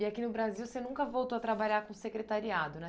E aqui no Brasil, você nunca voltou a trabalhar com secretariado, né?